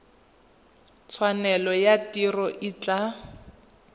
tshwanelo ya tiro e tla